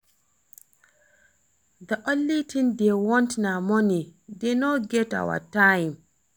The only thing dey want na money dey no get our time